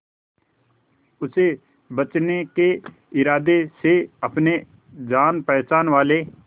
उसे बचने के इरादे से अपने जान पहचान वाले